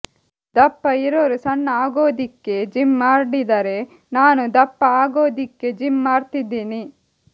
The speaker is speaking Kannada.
ದಪ್ಪ ಇರೋರು ಸಣ್ಣ ಆಗೋದಿಕ್ಕೆ ಜಿಮ್ ಮಾಡಿದರೆ ನಾನು ದಪ್ಪ ಆಗೋದಿಕ್ಕೆ ಜಿಮ್ ಮಾಡ್ತಿದ್ದೀನಿ